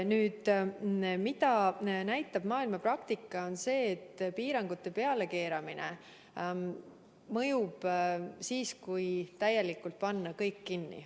Maailma praktika näitab seda, et piirangute pealekeeramine mõjub siis, kui panna kõik täielikult kinni.